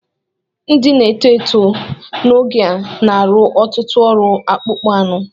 Ndị na-etó etó n'oge a na-arụ ọtụtụ ọrụ akpụ́kpọ́ ánụ